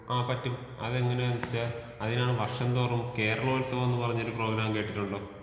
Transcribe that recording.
ആ പറ്റും. അത് എങ്ങനെയാണെന്ന് വെച്ചാൽ അതിനാണ് വർഷംതോറും കേരളോത്സവം എന്ന് പറഞ്ഞൊരു പ്രോഗ്രാം കേട്ടിട്ടുണ്ടോ?